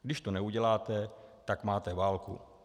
Když to neuděláte, tak máte válku.